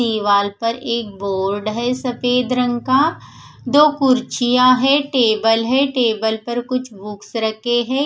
दीवाल पर एक बोर्ड है सफेद रंग का दो कुड्सिया है टेबल है टेबल पर कुच्छ बुक्स रखे है।